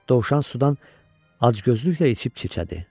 Dovşan sudan acgözlüklə içib çicədi.